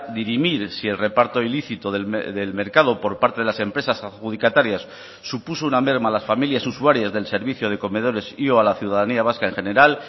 dirimir si el reparto ilícito del mercado por parte de las empresas adjudicatarias supuso una merma a las familias usuarias del servicio de comedores y o a la ciudadanía vasca en general